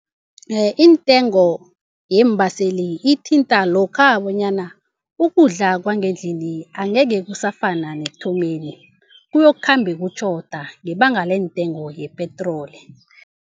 Intengo yeembaseli ithinta lokha bonyana ukudla kwangendlini angeke kusafana nekuthomeni, kuyokukhamba kutjhoda ngebanga lentengo yepetroli.